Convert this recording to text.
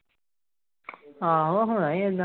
ਆਹੋ ਹੋਣਾ ਹੀ ਏਦਾਂ।